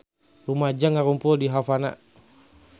Rumaja ngarumpul di Havana